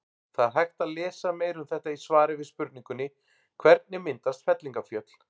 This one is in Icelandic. Það er hægt að lesa meira um þetta í svari við spurningunni Hvernig myndast fellingafjöll?